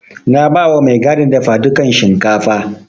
Na bawa mai gadin dafadukan shinkafa.